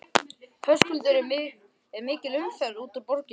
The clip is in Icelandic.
Höskuldur er mikil umferð út úr borginni?